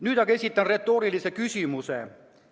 Nüüd aga esitan retoorilise küsimuse.